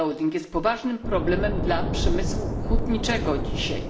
jest poważnym problemem dla przemysłu hutniczego dzisiaj.